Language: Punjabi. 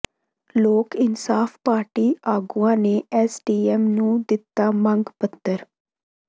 ਲੋਕ ਇਨਸਾਫ ਪਾਰਟੀ ਆਗੂਆਂ ਨੇ ਐੱਸਡੀਐੱਮ ਨੂੰ ਦਿੱਤਾ ਮੰਗ ਪੱਤਰ